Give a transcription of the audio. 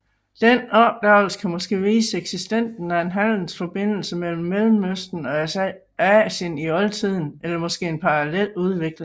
Denne opdagelse kan måske vise eksistensen af en handelsesforbindelse mellem Mellemøsten og Asien i oltiden eller måske en parallel udvikling